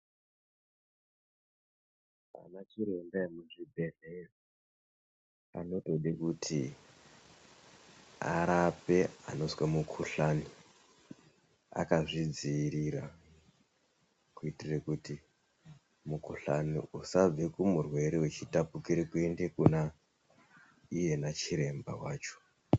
Ana chiremba emuchibhehleya anotode kuti arape anozwe mukhuhlani akazvidziirira kuitire kuti mukhuhlani usabve kumurwere uchitapukire kuende kuna iyena chiremba wacho.